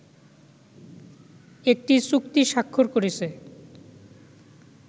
একটি চুক্তি স্বাক্ষর করেছে